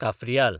काफ्रियाल